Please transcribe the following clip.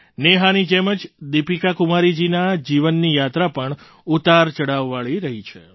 નેહાની જેમ જ દીપિકાકુમારીજીના જીવનની યાત્રા પણ ઉતારચડાવવાળી રહી છે